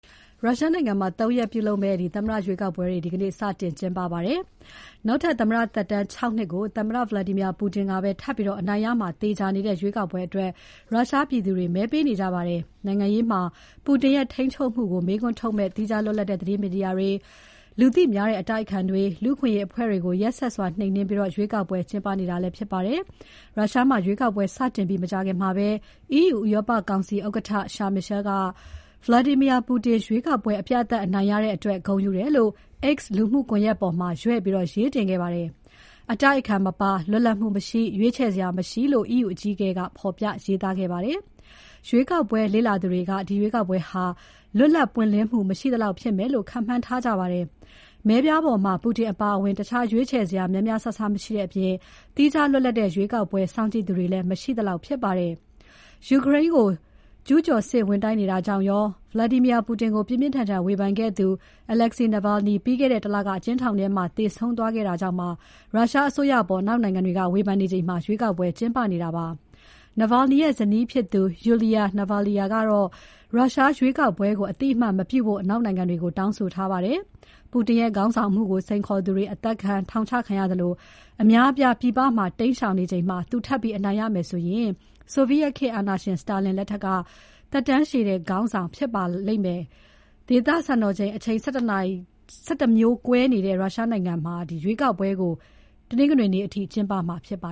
ရုရှားနိုင်ငံမှာ ၃ ရက်ကျင်းပမယ့် သမ္မတရွေးကောက်ပွဲတွေ ဒီနေ့ စတင်ပါတယ်။ နောက်ထပ်သမ္မတသက်တမ်း ၆ နှစ်ကို သမ္မတ Vladimir Putin ပဲထပ်ပြီး အနိုင်ရမှာ သေချာနေတဲ့ရွေးကောက်ပွဲအတွက် ရုရှားပြည်သူတွေ မဲပေးနေကြပါတယ်။ နိုင်ငံရေးမှာ Putin ရဲ့ ထိန်းချုပ်မှုကို မေးခွန်းထုတ်မယ့် သီးခြားလွတ်လပ်တဲ့ သတင်းမီဒီယာတွေ၊ လူသိများတဲ့ အတိုက်အခံတွေ၊ လူ့အခွင့်အရေးအဖွဲ့တွေကို ရက်စက်စွာ နှိမ်နှင်းပြီးရွေးကောက်ပွဲ ကျင်းပနေတာဖြစ်ပါတယ်။ ရုရှားမှာ ရွေးကောက်ပွဲစတင်ပြီး မကြာခင်မှာပဲ EU ဥရောပကောင်စီဥက္ကဋ္ဌ Charles Michel က Vladimir Putin ရွေးကောက်ပွဲ အပြတ်အသတ်အနိုင်ရတဲ့အတွက် ဂုဏ်ယူတယ်လို့ X လူမှုကွန်ရက်ပေါ်မှာ ရွဲ့ပြီး ရေးတင်ခဲ့ပါတယ်။ အတိုက်အခံ မပါ၊ လွတ်လပ်မှု မရှိ၊ ရွေးချယ်စရာ မရှိလို့ EU အကြီးအကဲက ဖော်ပြရေးသားခဲ့ပါတယ်။ ရွေးကောက်ပွဲလေ့လာသူတွေက ဒီရွေးကောက်ပွဲဟာ လွတ်လပ် ပွင့်လင်းမှု မရှိသလောက်ဖြစ်မယ်လို့ ခန့်မှန်းထားကြပါတယ်။ မဲပြားပေါ်မှာ Putin အပါအဝင် တခြားရွေးချယ်စရာ များများစားစားမရှိတဲ့အပြင် သီးခြားလွတ်လပ်တဲ့ ရွေးကောက်ပွဲ စောင့်ကြည့်သူတွေလည်း မရှိသလောက်ဖြစ်ပါတယ်။ ယူကရိန်းကို ကျူးကျော်စစ်ဝင်တိုက်နေတာကြောင့်ရော၊ သမ္မတ Putin ကို ပြင်းပြင်းထန်ထန် ဝေဖန်ခဲ့သူ Alexei Navalny လွန်ခဲ့တဲ့ ၁ လက အကျဉ်းထောင်ထဲမှာ သေဆုံးသွားခဲ့တာကြောင့်ပါ ရုရှားအစိုးရအပေါ် အနောက်နိုင်ငံတွေက ဝေဖန်နေချိန် ရွေးကောက်ပွဲ ကျင်းပနေတာပါ။ Navalny ရဲ့ဇနီးဖြစ်သူ Yulia Navalnaya က ရုရှားရွေးကောက်ပွဲကို အသိအမှတ် မပြုဖို့ အနောက်နိုင်ငံတွေကို တောင်းဆိုထားပါတယ်။ Putin ရဲ့ခေါင်းဆောင်မှုကို စိန်ခေါ်သူတွေ အသတ်ခံ၊ ထောင်ချခံရသလို အများအပြားပြည်ပမှာ တိမ်းရှောင်နေချိန်မှာ သူထပ်ပြီး အနိုင်ရမယ်ဆိုရင် ဆိုဗိယက်ခေတ်အာဏာရှင် Stalin ထက်သက်တမ်းရှည်တဲ့ ရုရှားခေါင်းဆောင်ဖြစ်လာပါလိမ့်မယ်။ ဒေသစံတော်ချိန် အချိန် ၁၁ မျိုးကွဲနေတဲ့ ရုရှားနိုင်ငံမှာ ရွေးကောက်ပွဲကို တနင်္ဂနွေနေ့အထိ ကျင်းပမှာဖြစ်ပါ